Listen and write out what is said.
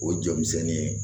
O jɔ misɛnnin ye